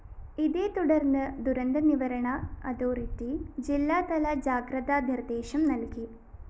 ഇതേതുടര്‍ന്ന് ദുരന്ത നിവരണ അതോറിറ്റി ജില്ലാതല ജാഗ്രതാ നിര്‍ദേശം നല്‍കി